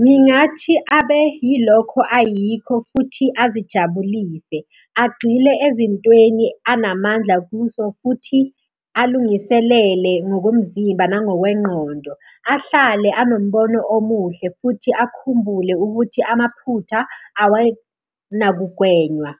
Ngingathi abe yilokho ayikho futhi azijabulise, agxile ezintweni anamandla kuzo futhi alungiselele ngokomzimba nangokwengqondo. Ahlale anombono omuhle futhi akhumbule ukuthi amaphutha awenakugwenywa.